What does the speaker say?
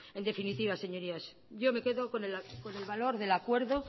en definitiva señorías yo me quedo con el valor del acuerdo